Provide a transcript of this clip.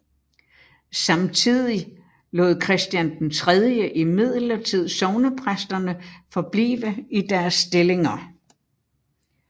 Samtidig lod Christian III imidlertid sognepræsterne forblive i deres stillinger